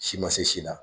Si ma se si la